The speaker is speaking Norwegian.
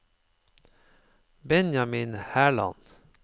Benjamin Herland